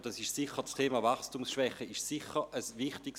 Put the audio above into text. Das Thema Wachstumsschwäche ist dabei sicher wichtig.